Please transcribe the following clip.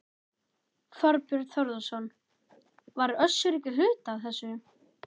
Þorbjörn Þórðarson: Var Össur ekki hluti af þessu?